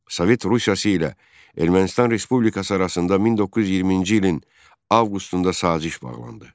Sovet Rusiyası ilə Ermənistan Respublikası arasında 1920-ci ilin avqustunda saziş bağlandı.